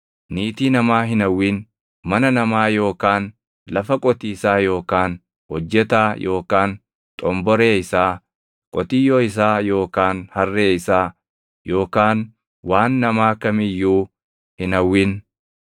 Niitii namaa hin hawwin. Mana namaa yookaan lafa qotiisaa yookaan hojjetaa yookaan xomboree isaa, qotiyyoo isaa yookaan harree isaa, yookaan waan namaa kam iyyuu hin hawwin.”